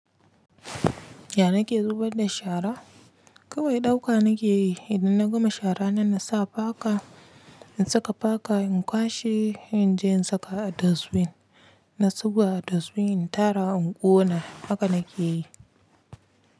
Ya nake zubar da shara? Kawai ɗauka nake yi, idan na gama shara nan na sa paka, in saka paka in kwashe in je in saka a dustbin. Na zuba a dustbin in tara in ƙona haka nake yi.